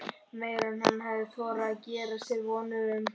Meira en hann hafði þorað að gera sér vonir um.